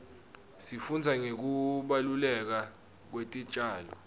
sifundza ngekubaluleka kwetitjalo